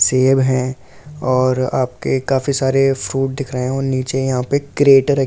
सेब है और आपके काफी सारे फ्रूट दिख रहे हैं और नीचे यहां पर क्रेट रखी हुई है जिसका।